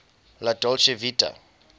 la dolce vita